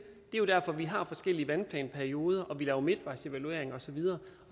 er jo derfor vi har forskellige vandplanperioder og laver midtvejsevaluering og så videre